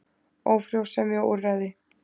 Ófrjósemi og úrræði.